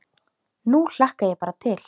Nú hlakka ég bara til.